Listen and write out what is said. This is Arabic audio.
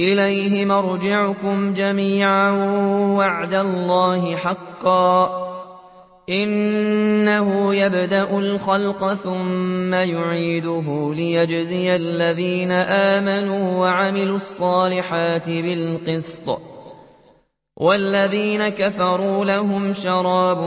إِلَيْهِ مَرْجِعُكُمْ جَمِيعًا ۖ وَعْدَ اللَّهِ حَقًّا ۚ إِنَّهُ يَبْدَأُ الْخَلْقَ ثُمَّ يُعِيدُهُ لِيَجْزِيَ الَّذِينَ آمَنُوا وَعَمِلُوا الصَّالِحَاتِ بِالْقِسْطِ ۚ وَالَّذِينَ كَفَرُوا لَهُمْ شَرَابٌ